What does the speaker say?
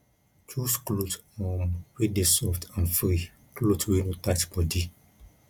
choose cloth um wey dey soft and free cloth wey no tight body